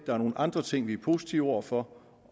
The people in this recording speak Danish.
der er nogle andre ting vi er positive over for